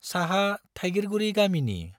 साहा थाइगिरगुरी गामिनि।